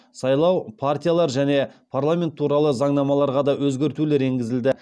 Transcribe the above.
сайлау партиялар және парламент туралы заңнамаларға да өзгертулер енгізілді